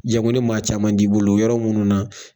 Jagon ni maa caman t'i bolo yɔrɔ minnu na